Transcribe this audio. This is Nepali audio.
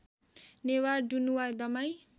नेवार दनुवार दमाई